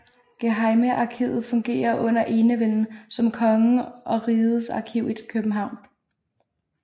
Gehejmearkivet fungerede under enevælden som kongens og rigets arkiv i København